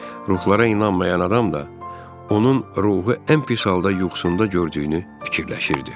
Ruhlara inanmayan adam da, onun ruhu ən pis halda yuxusunda gördüyünü fikirləşirdi.